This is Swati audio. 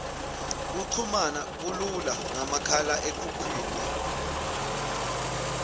kuchumana kulula ngamahlalekhukhwini